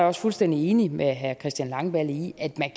også fuldstændig enig med herre christian langballe i at man